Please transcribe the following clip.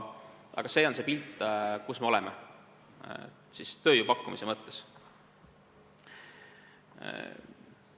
Aga see on see pilt, kus me tööjõu pakkumise mõttes oleme.